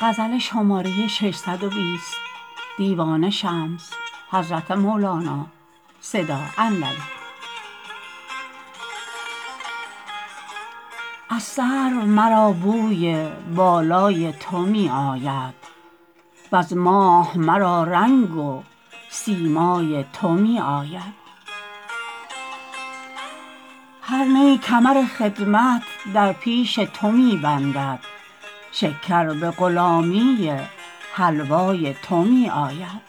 از سرو مرا بوی بالای تو می آید وز ماه مرا رنگ و سیمای تو می آید هر نی کمر خدمت در پیش تو می بندد شکر به غلامی حلوای تو می آید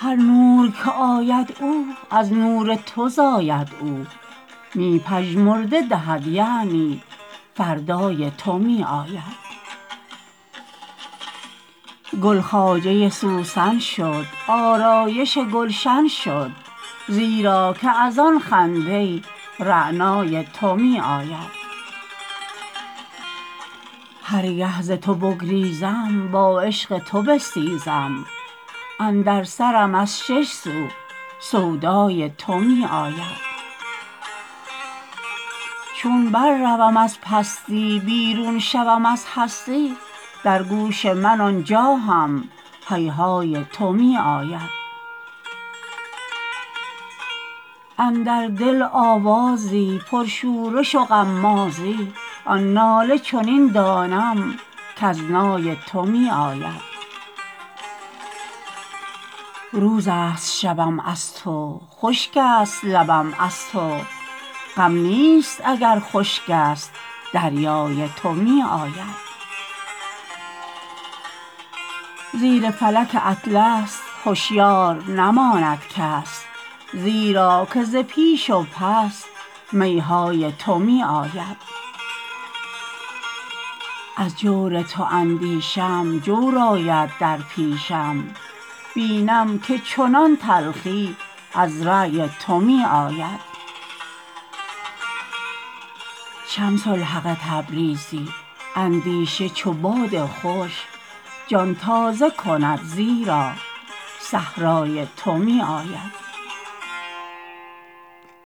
هر نور که آید او از نور تو زاید او می مژده دهد یعنی فردای تو می آید گل خواجه سوسن شد آرایش گلشن شد زیرا که از آن خنده رعنای تو می آید هر گه ز تو بگریزم با عشق تو بستیزم اندر سرم از شش سو سودای تو می آید چون برروم از پستی بیرون شوم از هستی در گوش من آن جا هم هیهای تو می آید اندر دل آوازی پرشورش و غمازی آن ناله چنین دانم کز نای تو می آید روزست شبم از تو خشکست لبم از تو غم نیست اگر خشکست دریای تو می آید زیر فلک اطلس هشیار نماند کس زیرا که ز پیش و پس می های تو می آید از جور تو اندیشم جور آید در پیشم بینم که چنان تلخی از رای تو می آید شمس الحق تبریزی اندیشه چو باد خوش جان تازه کند زیرا صحرای تو می آید